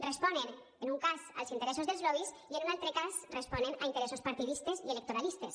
responen en un cas als interessos dels lobbys i en un altre cas responen a interessos partidistes i electoralistes